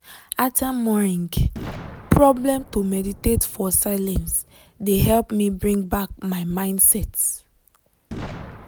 ater morining problem to meditate for silence de helped me bring back my mindset.